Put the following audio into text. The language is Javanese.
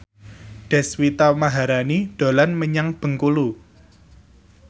Deswita Maharani dolan menyang Bengkulu